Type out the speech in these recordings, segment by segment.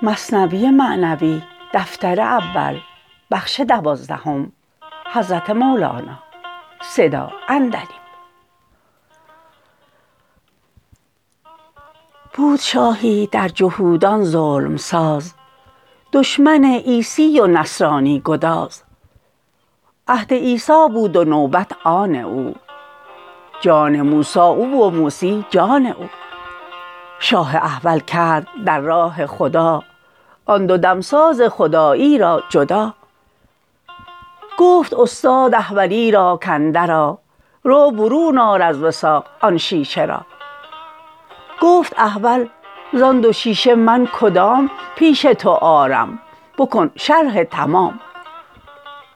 بود شاهی در جهودان ظلم ساز دشمن عیسی و نصرانی گداز عهد عیسی بود و نوبت آن او جان موسی او و موسی جان او شاه احول کرد در راه خدا آن دو دمساز خدایی را جدا گفت استاد احولی را کاندر آ رو برون آر از وثاق آن شیشه را گفت احول زان دو شیشه من کدام پیش تو آرم بکن شرح تمام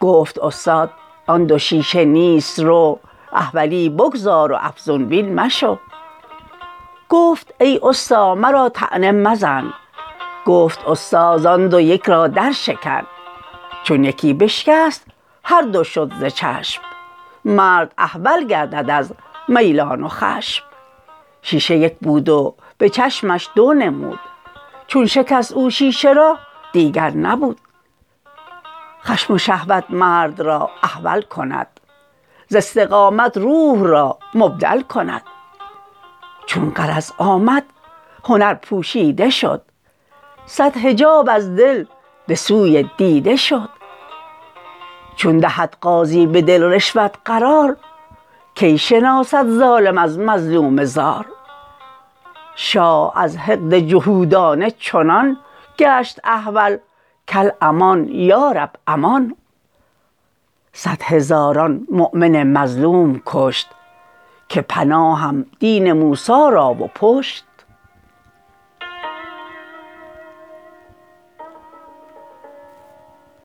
گفت استاد آن دو شیشه نیست رو احولی بگذار و افزون بین مشو گفت ای استا مرا طعنه مزن گفت استا زان دو یک را در شکن چون یکی بشکست هر دو شد ز چشم مرد احول گردد از میلان و خشم شیشه یک بود و به چشمش دو نمود چون شکست او شیشه را دیگر نبود خشم و شهوت مرد را احول کند ز استقامت روح را مبدل کند چون غرض آمد هنر پوشیده شد صد حجاب از دل به سوی دیده شد چون دهد قاضی به دل رشوت قرار کی شناسد ظالم از مظلوم زار شاه از حقد جهودانه چنان گشت احول کالامان یا رب امان صد هزاران مؤمن مظلوم کشت که پناهم دین موسی را و پشت